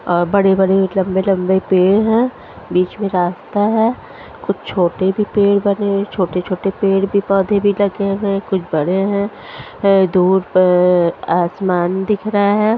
और बड़ी बड़ी लम्बी लम्बी पेड़ है बिच में रास्ता है कुछ छोटे से पेड़ बनी है छोटे छोटे पेड़ के पौधे भी लगे हुए है कुछ बड़े है धुप है आसमान दिख रहा है।